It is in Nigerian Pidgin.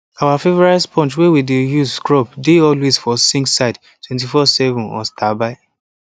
our favourite sponge wey we dey use scrub dey always for sink side 247 on standby